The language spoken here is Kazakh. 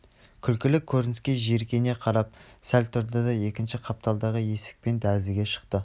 күлкілі көрініске жиіркене қарап сәл тұрды да екінші қапталдағы есікпен дәлізге шықты